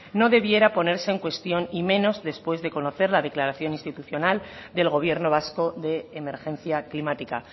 no debiera de ponerse en cuestión y menos después de conocer la declaración institucional del gobierno vasco de emergencia climática